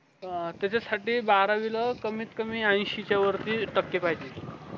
अं त्याचा साती बारावी ला कमीत कमीत ऎंशी चव्या वरती टक्के पायजे